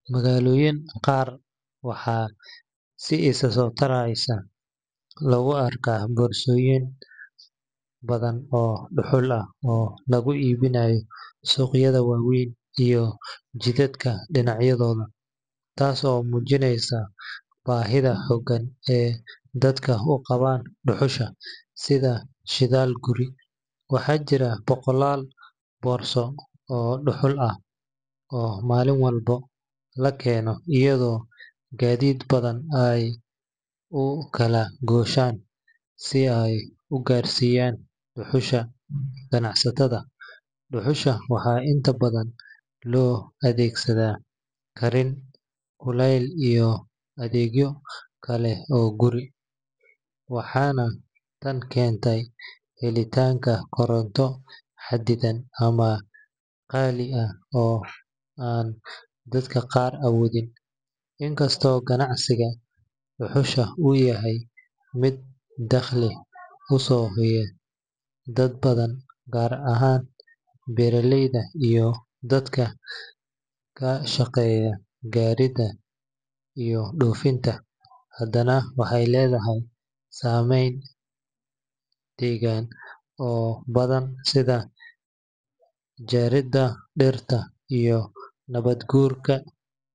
Magaalooyinka qaar waxaa si isa soo taraysa loogu arkayaa boorsooyin badan oo dhuxul ah oo lagu iibinayo suuqyada waaweyn iyo jidadka dhinacyadooda, taas oo muujinaysa baahida xooggan ee dadku u qabaan dhuxusha sida shidaal guri. Waxaa jira boqolaal boorso oo dhuxul ah oo maalin walba la keeno, iyadoo gaadiid badan ay u kala gooshayaan si ay u gaarsiiyaan dhuxusha ganacsatada. Dhuxusha waxaa inta badan loo adeegsadaa karin, kuleyl iyo adeegyo kale oo guri, waxaana tan keentay helitaanka koronto xaddidan ama qaali ah oo aan dadka qaar awoodin. Inkastoo ganacsiga dhuxusha uu yahay mid dakhli u soo hooya dad badan, gaar ahaan beeraleyda iyo dadka ka shaqeeya jaridda iyo dhoofinta, haddana waxay leedahay saameyn deegaan oo taban sida jariimada dhirta iyo nabaad-guurka.